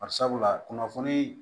Bari sabula kunnafoni